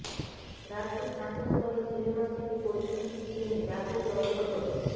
রাজ্যে স্নাতক স্তরে সিলেবাস থেকে পরীক্ষা সিস্টেমে ব্যাপক রদবদল